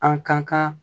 An kan ka